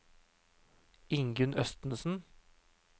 Ingunn Østensen